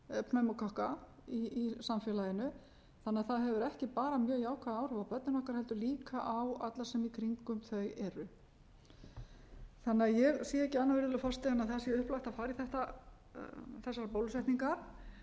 pneumókokka í samfélaginu þannig að það hefur ekki bara mjög jákvæð áhrif á börnin okkar heldur líka á alla sem í kringum þau eru ég sé því ekki annað virðulegur forseti en það sé upplagt að fara í þessar bólusetningar